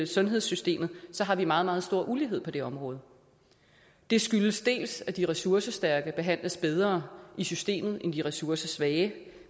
sundhedssystemet har vi meget meget stor ulighed på det område det skyldes til dels at de ressourcestærke behandles bedre i systemet end de ressourcesvage